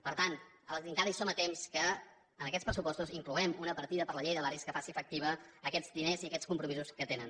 per tant encara som a temps que en aquests pressupostos incloguem una partida per a la llei de barris que faci efectius aquests diners i aquests compromisos que tenen